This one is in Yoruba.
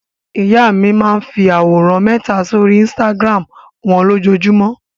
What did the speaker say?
Ìyá mi máa ń fi àwòrán mẹta sórí Instagram wọn lójúmọ́.